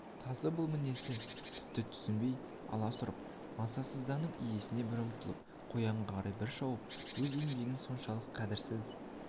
тазы бұл мінезді тіпті түсінбей аласұрып мазасызданып иесіне бір ұмтылып қоянға қарай бір шауып өз еңбегінің соншалық қадірсіз